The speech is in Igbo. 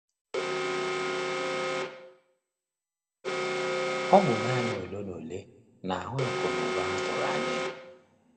Ọ bụ naanị ole na ole na-ahụ akụ na ụba ha tụrụ anya ya.